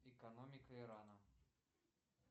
экономика ирана